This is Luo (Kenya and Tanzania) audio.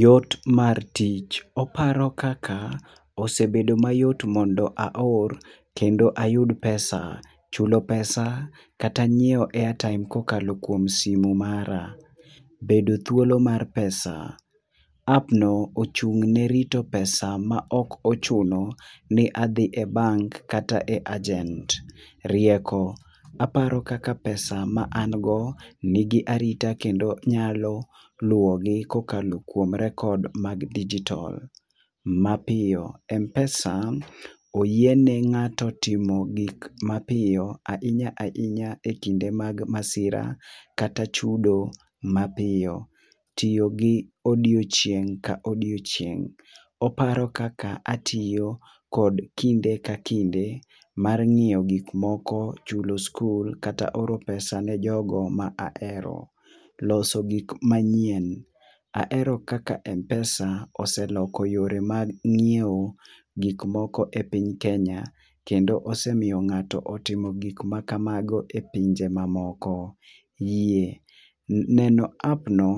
Yot mar tich ,oparo kaka osebedo mayot mondo aor kendo ayudo pesa, chulo pesa kata ngiwewo airtime ka okalo kuom simo mara, bedo thuolo mar pesa app no ochung ne rito pesa ma ok ochuno ni adhi e bank kata e agent. Rieko, aparo kaka pesa ma an go ni gi arita kendo nyalo luwo gi ka okalo kuom records mag digital ma piyo. Mpesa oyie ne ng'ato timo gik ma piyo ahinya ahinya e kinde mag masira kata chudo ma piyo. Tiyo gi odiechineg ka odiechieng oparo kaka atiyo kod kinde ka kinde mar ngiyo gik moko chulo skul kata oro pesa ne jogo ma ahero. Loso gik manyien, ahero kaka mpesa oseloso yore mag ng'iewo gik moko epiny Kenya . Kendo osemiyo ng'ato otimo gik ma ka mago e pinje moko neno app no